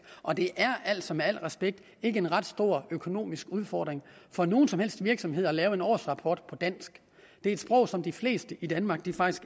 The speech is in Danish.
og det er altså med al respekt ikke en ret stor økonomisk udfordring for nogen som helst virksomhed at lave en årsrapport på dansk det er et sprog som de fleste i danmark faktisk